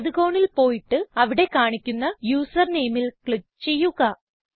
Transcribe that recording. വലത് കോണിൽ പോയിട്ട് അവിടെ കാണിക്കുന്ന യൂസർ നെയിമിൽ ക്ലിക്ക് ചെയ്യുക